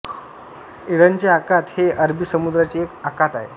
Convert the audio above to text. एडनचे आखात हे अरबी समुद्राचे एक आखात आहे